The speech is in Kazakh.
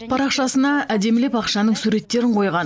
парақшасына әдемілеп ақшаның суреттерін қойған